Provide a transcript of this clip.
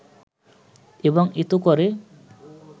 এবং এত করে